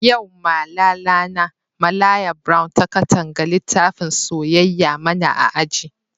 Yau Malala na, Malaya brown ta Katanga litafin soyayya mana a aji.